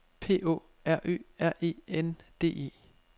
P Å R Ø R E N D E